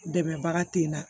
Dɛmɛbaga te na